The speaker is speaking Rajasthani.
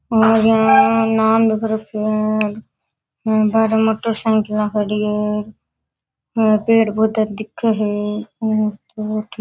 और यहाँ नाम लिख रखयो है बाहरे मोटरसाइकिला खड़ी है और पेड़ पौधे दिखे है।